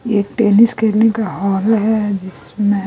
एक टेनिस खेलने का हॉल है जिसमें--